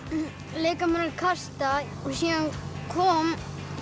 leika mér að kasta síðan kom